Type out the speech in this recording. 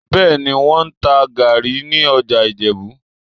Bẹ́ẹ̀ni, wọ́n ń ta gàárì ní ọjà Ìjẹ̀bú